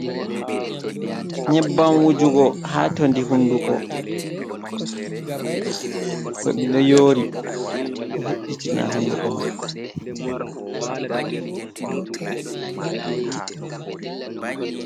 Nyebbam wujugo, haa todi hunduko, to ɗiɗo yoori, ɗo ve’itina hunduko man.